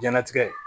Diɲɛnatigɛ